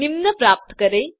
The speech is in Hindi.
निम्न प्राप्त करें